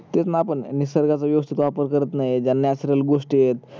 तेच ना आपण निसर्गाच व्येव्स्तीत वापर करत नाही ज्या natural गोष्टी आहेत